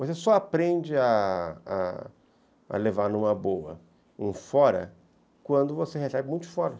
Você só aprende a a levar numa boa um fora quando você recebe muitos foras.